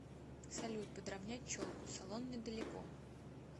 салют подравнять челку салон недалеко